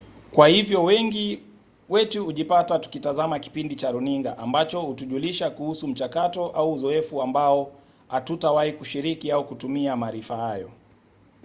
kwa hivyo wengi wetu hujipata tukitazama kipindi cha runinga ambacho hutujulisha kuhusu mchakato au uzoefu ambao hatutawahi kushiriki au kutumia maarifa hayo